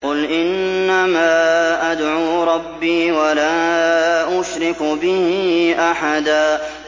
قُلْ إِنَّمَا أَدْعُو رَبِّي وَلَا أُشْرِكُ بِهِ أَحَدًا